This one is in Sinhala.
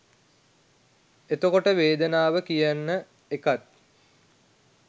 එතකොට වේදනාව කියන එකත්